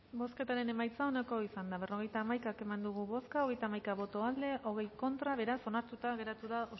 bozketaren emaitza onako izan da berrogeita hamaika eman dugu bozka hogeita hamaika boto aldekoa veinte contra beraz onartuta geratu da